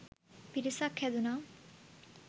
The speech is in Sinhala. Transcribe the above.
පිරිසක් හැදුණා.